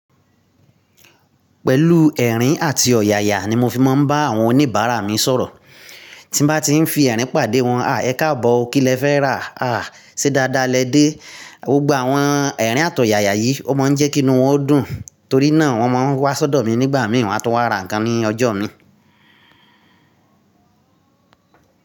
Pẹ̀lú ẹ̀rín àti ọ̀yàyà ni mo fi máa ń bá àwọn oníbàárà mi sọ̀rọ̀. Tí bá ti ń fi ẹ̀rín pàdé wọn, "à, ẹ káàbọ̀ o, kí lẹ fẹ́ rà? À, ṣé dáadáa lẹ dé?" Gbogbo àwọn ẹ̀rín àtọ̀yàyà yìí ó máa ń jẹ́ kí inú wọn o dùn, torí náà wọ́n máa ń wá sọ́dọ̀ mi nígbà mìíràn wá tún wá ra nǹkan ní ọjọ́ mi.